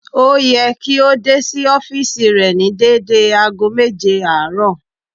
Ó yẹ kí ó dé sí ọ́fììsì rẹ̀ ní dédé ago méje àárọ̀